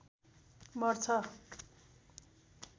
मर्छ